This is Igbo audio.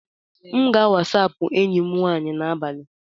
M ga- WhatsApp enyi m nwanyị n'abalị a.